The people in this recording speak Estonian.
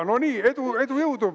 No nii, edu, jõudu!